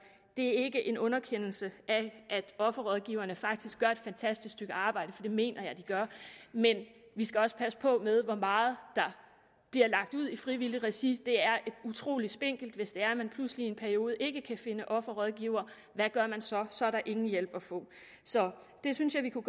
det er ikke en underkendelse af at offerrådgiverne faktisk gør et fantastisk stykke arbejde for det mener jeg de gør men vi skal også passe på med hvor meget der bliver lagt ud i frivilligt regi det er utrolig spinkelt hvis det er at man pludselig i en periode ikke kan finde offerrådgivere hvad gør man så så er der ingen hjælp at få så det synes vi kunne